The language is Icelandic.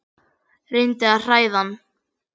Reyndi að hræða hann.